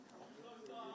Sadəcə olaraq bu cür.